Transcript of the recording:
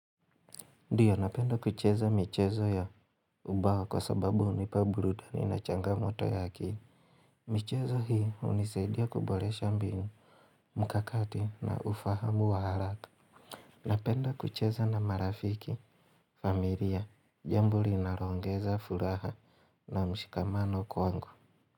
Ndio napenda kucheza michezo ya ubao kwa sababu unipa burudani na changamoto ya akili michezo hii unisaidia kuboresha mbinu mkakati na ufahamu wa haraka Napenda kucheza na marafiki, familia, jambo linaloongeza furaha na mshikamano kwangu.